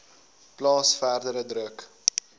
plaas verdere druk